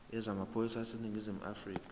yezamaphoyisa aseningizimu afrika